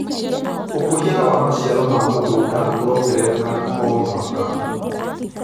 ũkũria wa maciaro ma mũgunda ũrongerereka o mwaka.